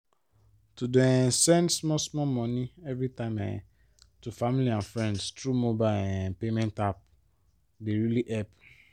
to dey um send small small money everytime um to family and friends through mobile um payment apps dey really help